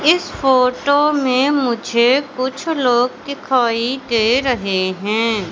इस फोटो में मुझे कुछ लोग दिखाई दे रहे हैं।